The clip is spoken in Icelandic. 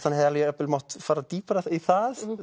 hann hefði jafnvel mátt fara dýpra í það